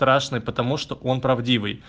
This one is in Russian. страшно потому что он правдивый